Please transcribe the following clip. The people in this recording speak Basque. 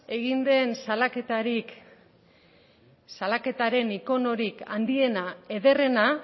egin den salaketaren ikonorik handiena ederrena